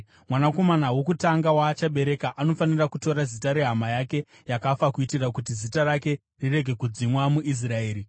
Mwanakomana wokutanga waachabereka anofanira kutora zita rehama yake yakafa kuitira kuti zita rake rirege kudzimwa muIsraeri.